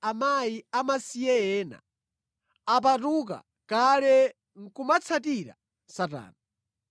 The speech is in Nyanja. Akazi amasiye ena apatuka kale nʼkumatsatira Satana.